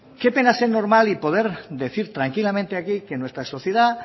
qué pena ser normal y poder decir tranquilamente aquí que nuestra sociedad